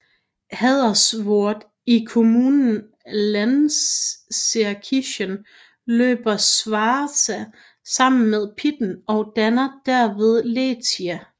I Haderswörth i kommunen Lanzenkirchen løber Schwarza sammen med Pitten og danner derved Leitha